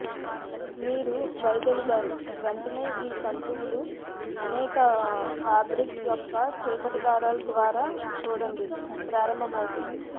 మీరు వైదొలిగారు వెంటనే ఈ తంతువులు అనేక ఫాబ్రిక్ యొక్క చీకటి దారాలు ద్వారా చూడండి ప్రారంభమవుతుంది